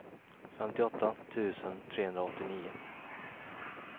femtioåtta tusen trehundraåttionio